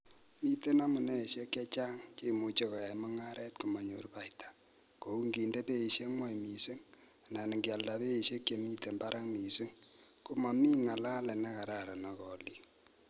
Miten amuniesiek chechang, cheimuche koyai mung'aret komonyor baita, kou ingende beisiek gwony missing, anan ingialda beisiek che mibarak mising ak komomi ngalalet nekararan ak olik.